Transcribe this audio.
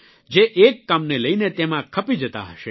જે એક કામને લઇને તેમાં ખપી જતા હશે